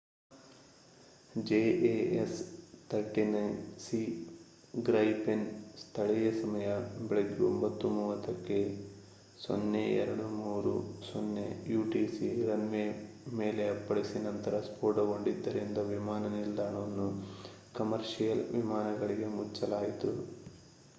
jas 39c Gripen ಸ್ಥಳೀಯ ಸಮಯ ಬೆಳಿಗ್ಗೆ 9:30 ಕ್ಕೆ 0230 utc ರನ್ ವೇ ಮೇಲೆ ಅಪ್ಪಳಿಸಿ ನಂತರ ಸ್ಫೋಟಗೊಂಡಿದ್ದರಿಂದ ವಿಮಾನ ನಿಲ್ದಾಣವನ್ನು ಕಮರ್ಷಿಯಲ್ ವಿಮಾನಗಳಿಗೆ ಮುಚ್ಚಲಾಯಿತು